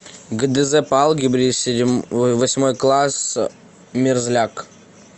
гдз по алгебре восьмой класс мерзляк